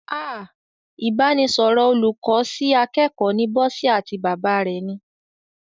Ah! Ìbánisọ̀rọ̀ olùkọ́ sí akẹ́kọ̀ọ́ ni Bọ́sẹ̀ àti bàbá rẹ̀ ni.